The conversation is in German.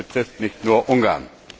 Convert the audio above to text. Das betrifft nicht nur Ungarn.